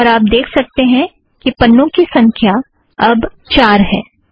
और आप देख सकतें हैं कि पन्नों की संख्या अब चार है